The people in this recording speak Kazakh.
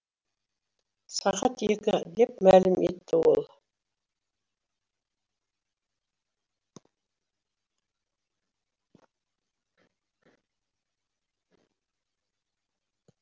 сағат екі деп мәлім етті ол